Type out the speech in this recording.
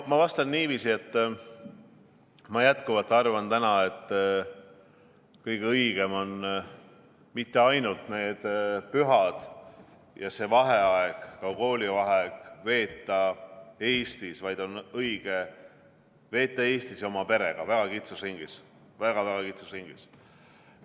Ma vastan niiviisi, et ma jätkuvalt arvan täna, et kõige õigem on mitte ainult need pühad ja see koolivaheaeg veeta Eestis, vaid on õige veeta see Eestis oma perega väga kitsas ringis, väga-väga kitsas ringis.